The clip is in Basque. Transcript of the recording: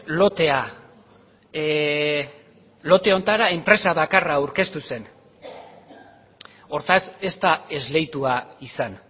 lotea lote honetara enpresa bakarra aurkeztu zen hortaz ez da esleitua izan